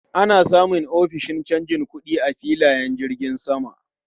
Ana samun ofishin canja kuɗi a filayen jirgin sama.